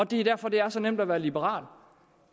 det er derfor at det er så nemt at være liberal